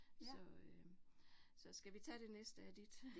Så øh så skal vi tage det næste af dit?